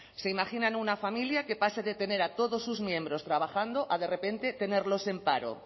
se imaginan una familia que pase de tener a todos sus miembros trabajando a de repente tenerlos en paro